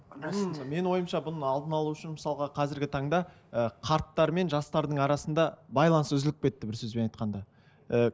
менің ойымша бұның алдын алу үшін мысалға қазіргі таңда ы қарттар мен жастардың арасында байланыс үзіліп кетті бір сөзбен айтқанда і